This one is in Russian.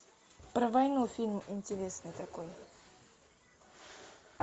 про войну фильм интересный такой